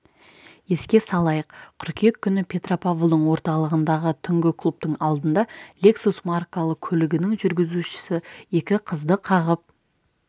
еске салайық қыркүйек күні петропавлдың орталығындағы түнгі клубтың алдында лексус маркалы көлігінің жүргізушісі екі қызды қағып